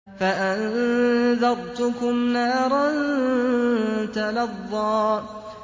فَأَنذَرْتُكُمْ نَارًا تَلَظَّىٰ